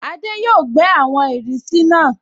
Adé yóò gbẹ́ àwọn ìrísí náà